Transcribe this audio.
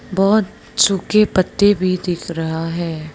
बहुत सूखे पत्ते भी दिख रहा है।